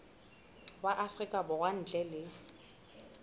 wa afrika borwa ntle le